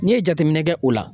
N'i ye jateminɛ kɛ o la